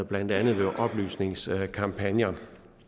blandt andet ved oplysningskampagner